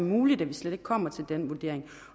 muligt at vi slet ikke kommer til den vurdering